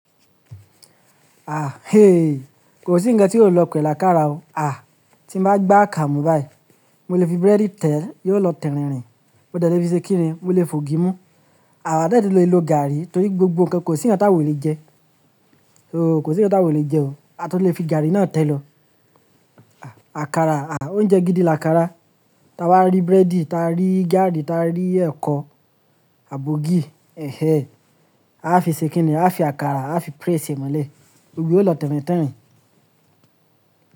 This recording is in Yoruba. Ah eh, kò sí ńkan tí yóò lọ pẹ̀rẹ̀ làkàrà o. Ah, tí ma gbá akara mu báì, mo lè fi búrẹ́dì tẹ̀, yóò lọ tẹ̀rìnrìn. Mo de le fi ṣe kíni, mo lè fi ògì mú. Àwa de tun le lò gaàrí torí gbogbo ń kan kò sí ń gé táwò lè jẹ. O kò sí ńkan táwa o lè jẹ o. A tun lè fi gaàrí náà tẹ̀ lọ. Àkàrà, ah oúnjẹ gidi ni làkàrà. Taa wá rí búrẹ́dì, ta rí gaàrí, ta ri ẹ̀kọ, àbi ògì, ẹhẹ. A fi ṣe kìnìn, a fi àkàrà, a fi press e mọ́lẹ̀. Yó lọ tẹ̀rìn tẹ̀rìn.